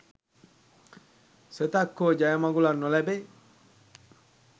සෙතක් හෝ ජය මඟුලක් නොලැබේ.